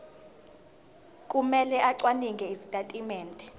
kumele acwaninge izitatimende